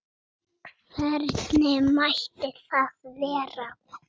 Hvernig mætti það vera?